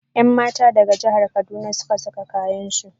Yanmata daga jahar kaduna suka saka kayansu.